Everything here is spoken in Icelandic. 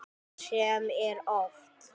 Sem er oft.